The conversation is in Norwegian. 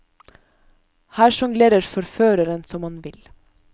Her sjonglerer forføreren som han vil.